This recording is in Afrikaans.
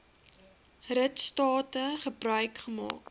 ritstate gebruik gemaak